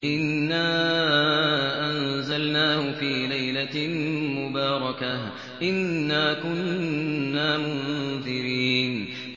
إِنَّا أَنزَلْنَاهُ فِي لَيْلَةٍ مُّبَارَكَةٍ ۚ إِنَّا كُنَّا مُنذِرِينَ